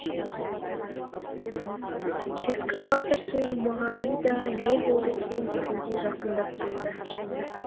экскаваторшы жұмағали да не болды екен дегендей жақындап келді